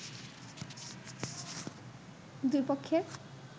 দুই পক্ষের